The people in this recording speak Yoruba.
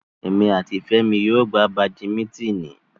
Emi ati Femi yóò gba Badimitini